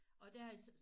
Og der er så